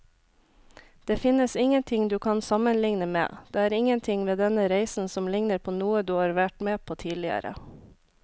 Det finnes ingenting du kan sammenligne med, det er ingenting ved denne reisen som ligner på noe du har vært med på tidligere.